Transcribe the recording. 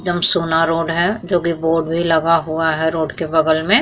Jamsona road है जोकि board भी लगा हुआ है रोड के बगल में।